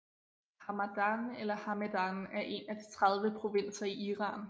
Hamadan eller Hamedan er en af de 30 provinser i Iran